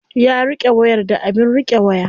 Ya riƙe wayar da abin riƙe waya.